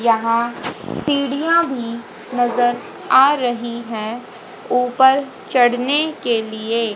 यहां सीढ़ियां भी नजर आ रही हैं ऊपर चढ़ने के लिए।